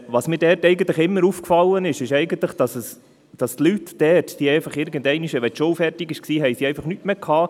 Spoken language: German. Was mir dort eigentlich immer aufgefallen ist, ist, dass die Leute dort, wenn die Schule fertig war, einfach nichts mehr hatten.